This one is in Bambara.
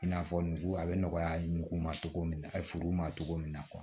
I n'a fɔ nugu a bɛ nɔgɔya nugu ma cogo min na a ka furu ma cogo min na